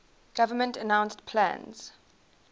government announced plans